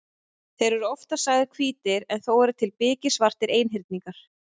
Þeir eru oftast sagðir hvítir en þó eru til biksvartir einhyrningar.